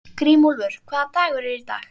Grímúlfur, hvaða dagur er í dag?